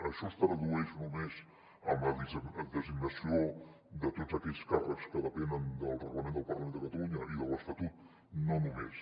això es tradueix només en la designació de tots aquells càrrecs que depenen del reglament del parlament de catalunya i de l’estatut no només